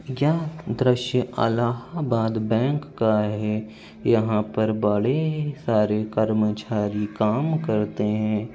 यह दृश्य अलाहाबाद बैंक का है। यहाँ पर बड़े ए सारे कर्मचारी काम करते हैं।